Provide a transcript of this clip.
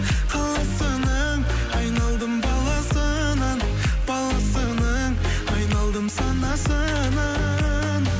қаласының айналдым баласынан баласының айналдым санасынан